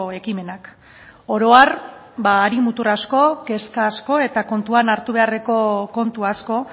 ekimenak oro har hari mutur asko kezka asko eta kontuan hartu beharreko kontu asko